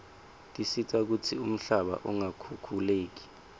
tisita kutsi umhlaba ungakhukhuleki